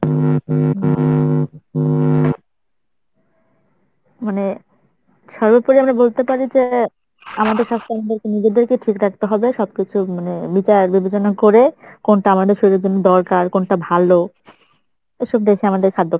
মানে সর্বোপরি আমরা বলতে পারি যে আমাদের স্বাস্থ্য আমাদের নিজেদেরকে ঠিক রাখতে হবে সবকিছু মানে বিচার বিবেচনা করে কোনটা আমাদের শরীরের জন্য দরকার কোনটা ভালো এসব দেখে